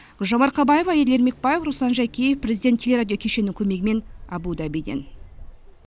гүлжан марқабаева еділ ермекбаев руслан жакеев президент телерадио кешенінің көмегімен абу дабиден